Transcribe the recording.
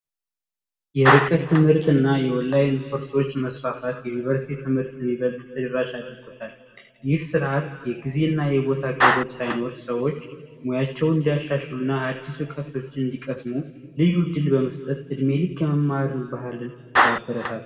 የርቀት ትምህርት እና የኦላይን ኮርሶች መስፋፋት የዩኒቨርስቲ ትምህርትን ይበልጥ ተደራሽ አድርጎታል። ይህ ስርዓት የጊዜ እና የቦታ ገደብ ሳይኖረው ሰዎች ሙያቸውን እንዲያሻሽሉ እና አዳዲስ እውቀቶችን እንዲቀስሙ ልዩ እድል በመስጠት እድሜ ልክ የመማር ባህልን ያበረታታል።